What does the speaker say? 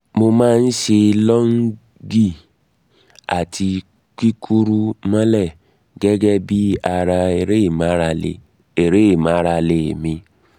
mo má a ń ṣe lọ́ọ̀njì àti kíkúrú mọ́lẹ̀ gẹ́gẹ́ bí ara eré ìmárale eré ìmárale mi